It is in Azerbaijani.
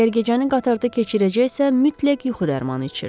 Əgər gecəni qatarda keçirəcəksə, mütləq yuxu dərmanı içirdi.